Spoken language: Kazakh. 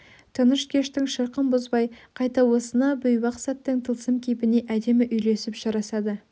тыныш кештің шырқын бұзбай қайта осынау бейуақ сәттің тылсым кейпіне әдемі үйлесіп жарасады